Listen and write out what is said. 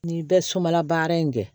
N'i bɛ sunbala baara in kɛ